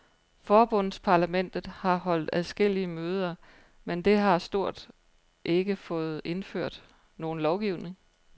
Forbundsparlamentet har holdt adskillige møder, men det har stort ikke fået indført nogen lovgivning.